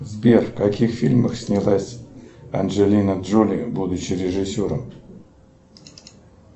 сбер в каких фильмах снялась анджелина джоли будучи режиссером